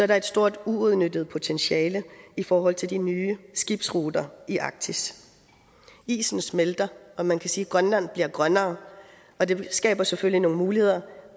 der et stort uudnyttet potentiale i forhold til de nye skibsruter i arktis isen smelter og man kan sige at grønland bliver grønnere og det skaber selvfølgelig nogle muligheder